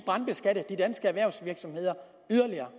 brandbeskatte de danske erhvervsvirksomheder yderligere